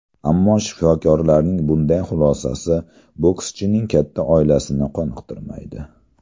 Ammo shifokorlarning bunday xulosasi bokschining katta oilasini qoniqtirmaydi.